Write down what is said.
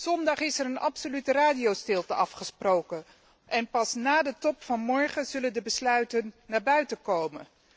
Zondag is er een absolute radiostilte afgesproken en pas na de top van morgen zullen de besluiten naar buiten komen.